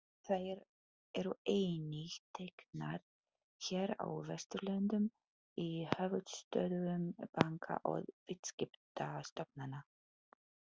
Þær eru einnig teknar hér á Vesturlöndum, í höfuðstöðvum banka og viðskiptastofnanna.